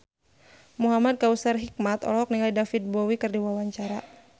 Muhamad Kautsar Hikmat olohok ningali David Bowie keur diwawancara